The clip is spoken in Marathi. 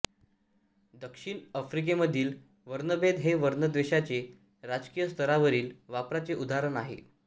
दक्षिण आफ्रिकेमधील वर्णभेद हे वर्णद्वेषाचे राजकीय स्तरावरील वापराचे उदाहरण आहे